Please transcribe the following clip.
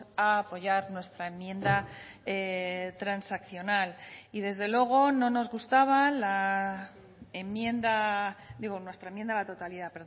a apoyar nuestra enmienda a la totalidad